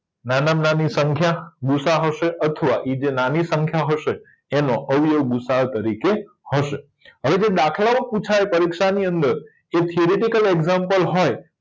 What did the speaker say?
નાનામાં નાની સંખ્યા ગુસાઅ હશે અથવા ઇ જે નાની સંખ્યા હશે એનો અવયવ ગુસાઅ તરીકે હશે હવે જો દાખલાઓ પુછાય પરિક્ષાની અંદર એ થીયરીટીકલ એક્ષામ્પલ હોય